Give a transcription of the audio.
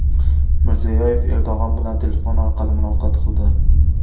Mirziyoyev Erdo‘g‘on bilan telefon orqali muloqot qildi.